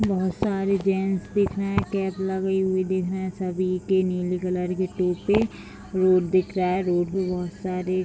बहुत सारे जेंट्स दिख रहे है कैप लगे हुए दिख रहे हैं सभी के नीले कलर के टोपी रोड दिख रहा है रोड पे बहुत सारे --